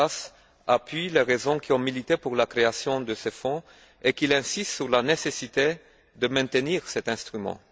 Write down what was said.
Portas appuie les raisons qui ont motivé la création de ce fonds et qu'il insiste sur la nécessité de maintenir cet instrument.